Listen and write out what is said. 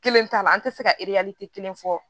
Kelen t'a la an tɛ se ka kelen fɔ